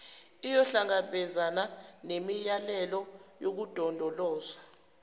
iyohlangabezana nemiyalelo yokulondolozwa